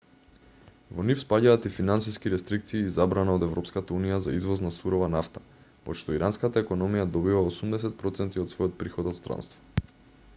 во нив спаѓаат и финансиски рестрикции и забрана од европската унија за извоз на сурова нафта од што иранската економија добива 80 % од својот приход од странство